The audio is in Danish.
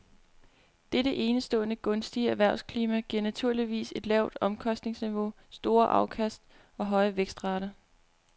Dette enestående gunstige erhvervsklima giver naturligvis et lavt omkostningsniveau, store afkast og høje vækstrater.